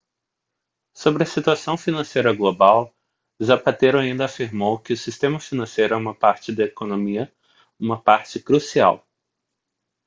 sobre a situação financeira global zapatero ainda afirmou que o sistema financeiro é uma parte da economia uma parte crucial